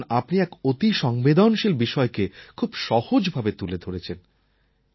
কারণ আপনি এক অতি সংবেদনশীল বিষয়কে খুব সহজভাবে তুলে ধরেছেন